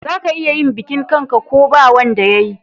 Za ka iya yin bikin kan'ka ko ba wanda yayi